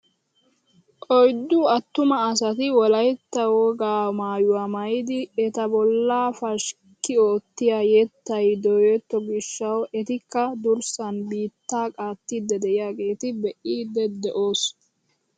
Oyddu attuma asati wolaytta wpgaa maayuwaa maayidi eta bollaa pashikki oottiyaa yettay dooyetto gishshawu etikka durssaan biittaa qaattiidi de'iyaageta be'iidi de'oos!